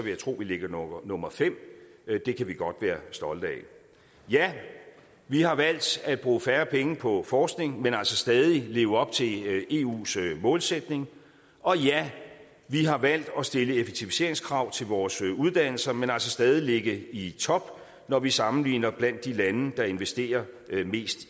jeg tro at vi ligger nummer fem det kan vi godt være stolte af ja vi har valgt at bruge færre penge på forskning men altså stadig leve op til eus målsætning og ja vi har valgt at stille effektiviseringskrav til vores uddannelser men altså stadig ligge i top når vi sammenligner blandt de lande der investerer mest